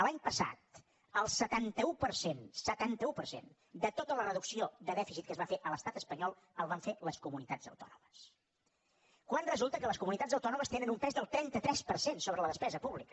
l’any passat el setanta un per cent setanta un per cent de tota la reducció de dèficit que es va fer a l’estat espanyol el van fer les comunitats autònomes quan resulta que les comunitats autònomes tenen un pes del trenta tres per cent sobre la despesa pública